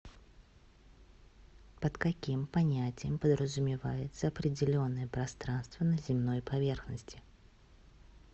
под каким понятием подразумевается определенное пространство на земной поверхности